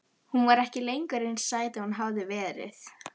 Hún var ekki lengur eins sæt og hún hafði verið.